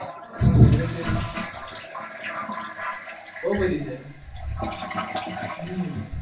આપણી favourite dish બઉ બધી છે હમ